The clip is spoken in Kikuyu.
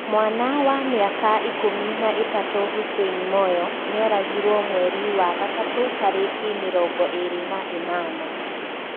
Mwana wa miaka ikũmi na ĩtatũ Hussein moyo nĩoragirwo, mweri wa gatatũ, tariki mĩrongo iri na ĩnana.